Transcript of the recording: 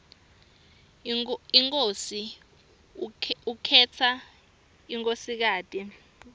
inkhosi ukhetsa nkosikati emhlangeni